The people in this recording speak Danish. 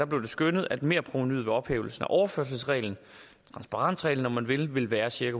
blev det skønnet at merprovenuet ved ophævelsen af overførselsreglen transparensreglen om man vil ville være cirka